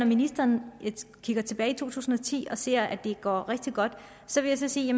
ministeren kigger tilbage på to tusind og ti og siger at det går rigtig godt så vil jeg sige